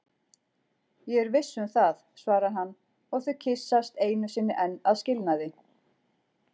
Ég er viss um það, svarar hann og þau kyssast einu sinni enn að skilnaði.